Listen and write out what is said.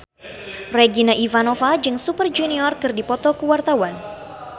Regina Ivanova jeung Super Junior keur dipoto ku wartawan